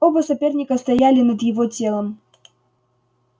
оба соперника стояли над его телом